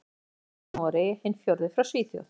Sá þriðji frá Noregi, hinn fjórði frá Svíþjóð.